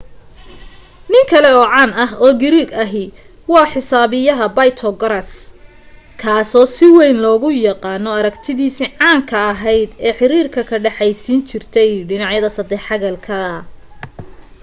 nin kale oo caan ah oo giriig ahi waa xisaabiya baytogaraas kaaso si wayn loogu yaaano aragtidiisii caanka ahayd ee xiriirka ka dhexaysiin jirtay dhinacyada saddex xagalka